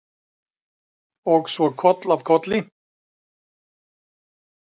Og svo koll af kolli.